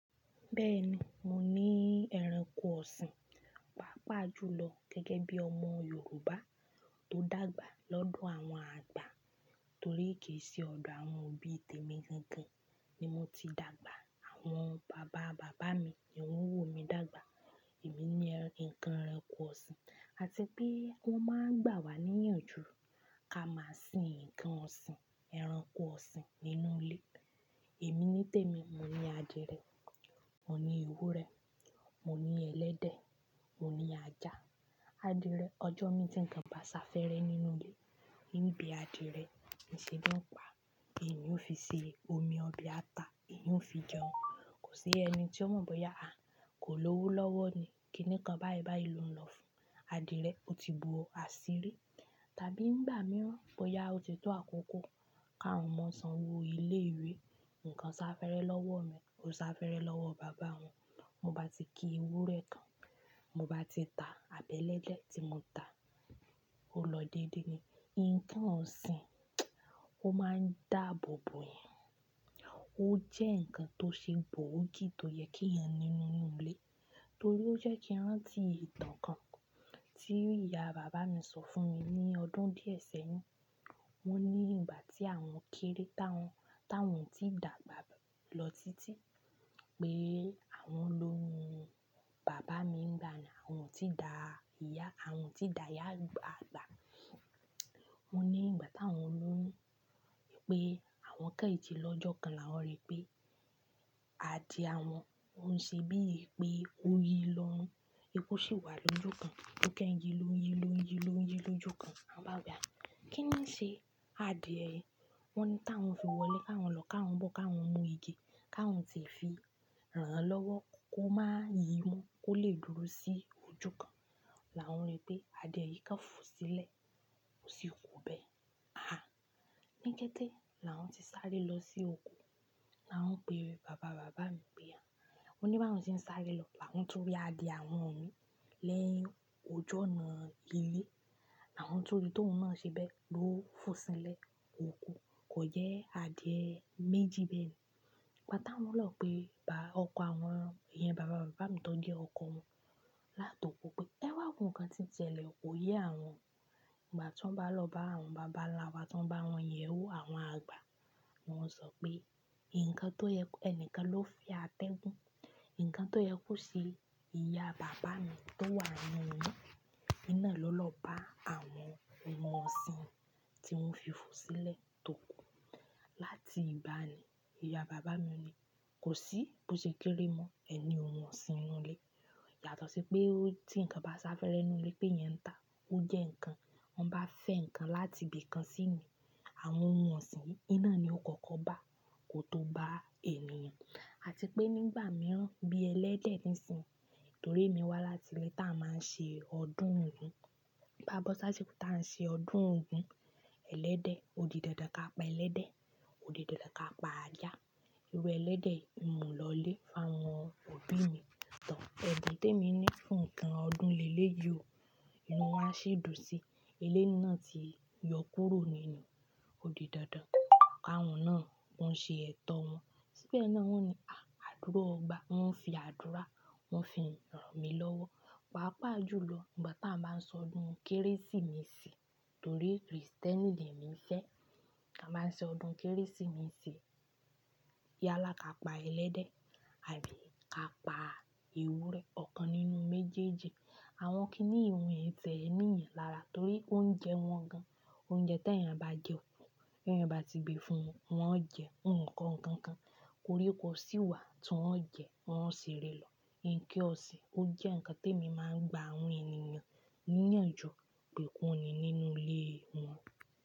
Bẹ́ẹ̀ni, mo ní ẹranko ọ̀sìn, pàápàá jùlọ gẹ́gẹ́ bí ọmọ Yorùbá tó dàgbà lọ́dọ̀ àwọn àgbà. Torí kì í ṣe ọ̀dọ̀ àwọn òbí tèmi gangan ni mo ti dàgbà. Àwọn bàbá bàbá mi ni wọ́n wò mi dàgbà. Èmi ni ǹkan ẹranko ọ̀sìn. Àti pé wọ́n máa ń gbà wá ní ìyànjú ká máa sin ǹkan ọ̀sìn, ẹranko ọ̀sìn nínú ilé. Èmi nítèmi, mo ní adìyẹ, mo ní ewúrẹ́, mo ní ẹ̀lẹ́dẹ̀, mo ní ajá. Adìẹ, ọjọ́ mi tí ǹkan bá sá fẹ́rẹ́ nínú ilé, níbi adìẹ ni ṣeun ń pa, èmi ó fi ṣe omi ọbẹ̀ ata, èmi ó fi jẹun. Kò sí ẹni tí ó mọ̀ bóyá, àh, kò lówó lọ́wọ́ ni, kíni kan báyìí báyìí lo ń lọ fún adìẹ? Ó ti bu ọ àṣírí. Tàbí nígbà mìíràn bóyá ó ti tó àkókò kà wọn ọmọ sanwó ilé-ìwé, ǹkan sá fẹ́rẹ́ lọ́wọ́ mi, ò sá fẹ́rẹ́ lọ́wọ́ bàbá wọn. Mo bá ti kí ewúrẹ́ kan, mo bá ti ta abẹ́lẹ́dẹ́ tí mo ta, ó lọ dédé ni. Ǹkan ọ̀sìn, ó máa ń dààbò bò yan. Ó jẹ́ ǹkan tó ṣe gboogi tó yẹ kéèyàn ní nínú ilé. Torí ó jẹ́ kí n rántí ìtàn kan tí ìyá bàbá mi sọ fún mi ní ọdún díẹ̀ sẹ́yìn. Wọ́n ní ìgbà tí àwọn kéré tá wọn ò tíì dàgbà lọ títí pé àwọn lóyún-un. Bàbá mi ń gba ni àwọn tí dà ìyá, àwọn tí dà ìyá àgbà. Wọ́n ní ìgbà táwọn lóyún pé àwọn kan ji lọ́jọ́ kan làwọn rí pé adìẹ àwọn ò ń ṣe bíi pé ó yí lórún. Wipo sì wà lójú kan tó kẹ́ n yi, ló ń yí, ló ń yí, ló ń yí lójú kan na báwo pe ah. Kí ni ṣe adìẹ? Wọ́n ní táwọn fi wọlé káwọn lọ káwọn bọ́ káwọn mú igi káwọn tí ẹ fi rán-an lọ́wọ́ kó máa yí mó kó lè dúró sí ojú kan, làwọn rí pé adìẹ yìí kan fò sílẹ̀, ò sì kú bẹ́ẹ̀. Há! Ní kété làwọn ti sáré lọ sí oko, làwọn pé bàbá bàbá mi pé àh. Wọ́n ní báwọn ti ń sáré lọ làwọn tún rí adìẹ àwọn mii ní ọjú ọ̀nà ilé. Làwọn tún rí tóun nà ṣe bẹ́ẹ̀ ló fò sílẹ̀, ò kú. Kò jẹ́ adìẹ méjì bẹ́ẹ̀ni. Gba ta wọ́n lọ ó pé ba ọkọ̀ àwọn, iyẹn bàbá bàbá mi tó jẹ́ ọkọ wọn látòkọ̀ pé ẹwà ǹnkan tí ń sẹ́lẹ̀ kò yẹ àwọn. Ìgbà tí wọ́n bá lọ bá àwọn bàbá ńlá wa tí wọ́n bá wọ́n yẹ̀ ẹ́ wò àwọn àgbà, wọ́n sọ pé ǹkan tó yẹ ẹni kan ló fẹ́ atẹ́gùn. Ǹkan tó yẹ kó ṣe ìyá bàbá mi tó wà nínú oyún, òun ló lọ bá àwọn wọ̀n ọ̀sìn tí wọ́n fi fò sílẹ̀ tó kú. Láti ìgbà nì, ìyá bàbá mi ní, kò sí bó ṣe kéré mọ ẹni òun ọ̀sìn nínú ilé. Yàtọ̀ sí pé tí ǹkan bá sá fẹ́rẹ́ nínú ilé pé mi ń tà á, ó jẹ́ ǹkan. Wọ́n bá fẹ́ ǹkan láti ibi kan sí mí, àwọn oun ọ̀sìn yi náà ni ó kọ́kọ́ bá, kó tó bá ènìyàn. Àti pé nígbà mìíràn bí ẹlẹ́dẹ̀ ń sin, torí èmi wá láti ilé táa máa ń ṣe ọdún Ògún. Bá bó ṣásiko tí a ń ṣe ọdún Ògún, ẹlẹ́dẹ̀ odi dandan ká pa ẹlẹ́dẹ̀, odi dandan ká pa ajá. Ẹran ẹlẹ́dẹ̀ ń mù lọlé fáwọn òbí mi tán. Ẹ̀bùn tèmi ni fún ǹkan ọdún lé lé yi o, inú wọn a ṣì dùn sí. Eléyì náà ti yọ kúrò nínú odi dandan. Àwọn náà ń ṣe ẹ̀tọ́ wọn. Síbẹ̀ náà wọ́n ò ní, àh! Àdúro ọba. Wọn ń fi àdúrà, wọ́n fi rán mi lọ́wọ́. Pàápàá jùlọ ìgbà ta ń bá sọdún Kérésìmesì torí Krìstẹ́nì lèmi fẹ̀. A máa ń ṣe ọdún Kérésìmesì. Yálá ká pa ẹlẹ́dẹ̀ àbí ká pa ewúrẹ́, ọ̀kan nínú méjèèjì. Àwọn kínìí mi yi tí ẹ ń rí yan lára torí oúnjẹ wọn gan. Oúnjẹ tèèyàn bá jẹ kú, tẹ̀èyàn bá ti gbé fún wọn, wọ́n ó jẹ, wọ́n kọ́kọ́ nǹkankan. Koríko sì wà tí wọ́n ó jẹ, wọ́n ó ṣerẹ̀ lọ. Ǹkan ọ̀sìn ó jẹ́ ǹkan tèmi máa ń gba àwọn ènìyàn níyànjú pé kan ní nínú ilé wọn.